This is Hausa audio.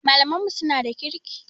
Malaman mu suna da kirki